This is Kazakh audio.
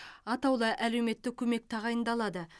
атаулы әлеуметтік көмек тағайындалады